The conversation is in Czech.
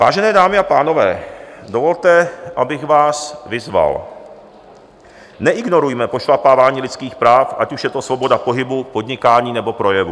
Vážené dámy a pánové, dovolte, abych vás vyzval: neignorujme pošlapávání lidských práv, ať už je to svoboda pohybu, podnikání nebo projevu.